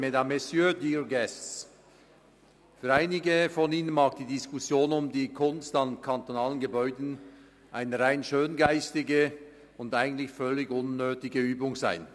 Für einige von Ihnen mag die Diskussion über die Kunst an kantonalen Gebäuden eine rein schöngeistige und eigentlich völlig unnötige Übung sein.